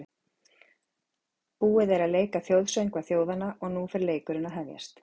Búið er að leika þjóðsöngva þjóðanna og nú fer leikurinn að hefjast.